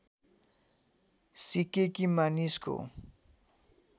सिकेँ कि मानिसको